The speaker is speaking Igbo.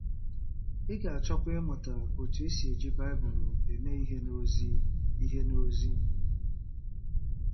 Ị ga-achọkwa ịmụta otú e si eji Baịbụl eme ihe n’ozi ihe n’ozi.